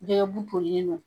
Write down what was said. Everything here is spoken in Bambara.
Jɛgɛbu tolilen do.